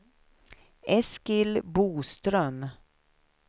Eskil Boström